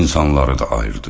İnsanları da ayırdı.